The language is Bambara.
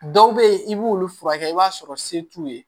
Dɔw bɛ yen i b'olu furakɛ i b'a sɔrɔ se t'u ye